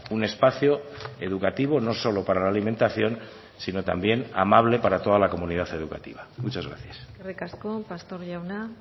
un espacio educativo no solo para la alimentación sino también amable para toda la comunidad educativa muchas gracias eskerrik asko pastor jauna